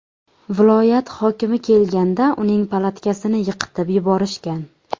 Viloyat hokimi kelganda uning palatkasini yiqitib yuborishgan.